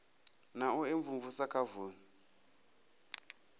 na u imvumvusa kha vunu